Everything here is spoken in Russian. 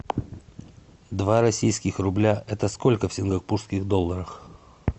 два российских рубля это сколько в сингапурских долларах